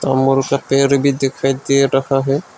का पेड़ भी दिखाई दे रहा है।